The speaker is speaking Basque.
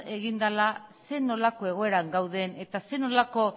egin dela zer nolako egoeran gauden eta zer nolako